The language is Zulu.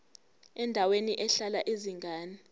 endaweni ehlala izingane